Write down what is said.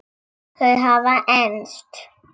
Þau hafa enst.